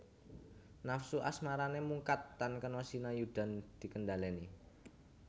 Nafsu asmarané mungkat tan kena sinayudhan dikendhaleni